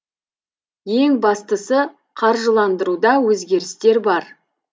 ең бастысы қаржыландыруда өзгерістер бар